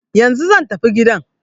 Yanzu zan tafi gidan.